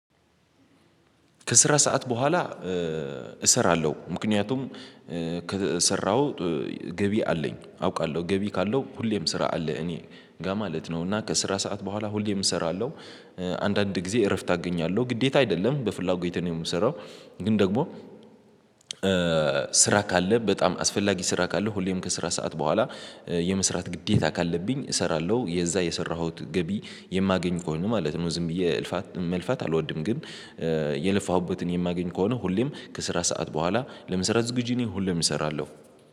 ከስራ ሰዓት በኋላ እሰራለሁ ምክንያቱም ከሰራሁ ገቢ አለኝ አውቃለሁ ገቢ ካለው ሁሌም ስራ አለ እኔ ጋር ማለት ነው። እና ከስራ ሰዓት በኋላ ሁሌም እሰራለሁ። አንዳንድ ጊዜ እረፍት አገኛለሁ ግዴታ አይደለም በፍላጎቴ ነው የምሰራው። ግን ደግሞ ስራ ካለ በጣም አስፈላጊ ስራ ካለ ሁሌም ከስራ ሰዓት በኋላ የመስራት ግዴታ ካለብኝ እሰራለሁ። የዛ የሰራሁት ገቢ የማገኝ ከሆነ ማለት ነው። ዝም ብዬ እልፋት መልፋት አልወድም። ግን የለፋሁበትን የማገኝ ከሆነ ሁሌም ከስራ ሰዓት በኋላ ለመሰራት ዝግጁ እኔ ሁሌም እሰራለሁ።